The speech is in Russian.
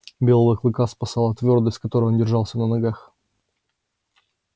белого клыка спасала твёрдость с которой он держался на ногах